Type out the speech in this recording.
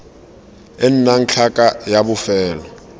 e nnang tlhaka ya bofelo